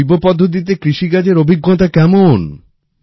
জৈব পদ্ধতিতে কৃষিকাজের অভিজ্ঞতা কেমন